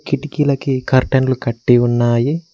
కిటికీలకి curtain లు కట్టి ఉన్నాయి.